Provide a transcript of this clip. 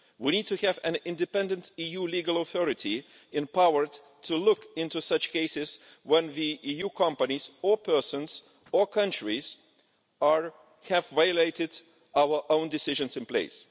We need to have an independent EU legal authority empowered to look into cases where EU companies or persons or countries have violated our own decisions in place.